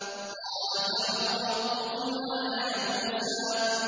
قَالَ فَمَن رَّبُّكُمَا يَا مُوسَىٰ